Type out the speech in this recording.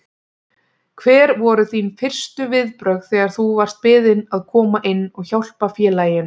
Hver voru þín fyrstu viðbrögð þegar þú varst beðinn að koma inn og hjálpa félaginu?